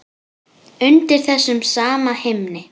Undir þessum sama himni.